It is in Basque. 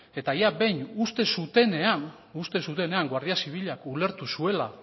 eta jada behin uste zutenean guardia zibilak ulertu zuela